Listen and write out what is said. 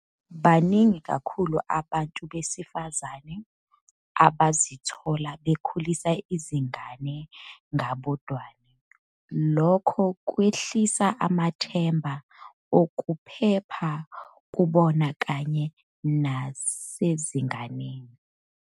Baningi kakhulu abantu besifazane abazithola bekhulisa izingane ngabodwana, lokho kwehlisa amathemba okuphepha kubona kanye nasezinganeni.